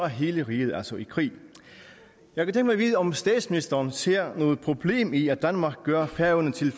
hele riget altså i krig jeg vil derfor vide om statsministeren ser noget problem i at danmark gør færøerne til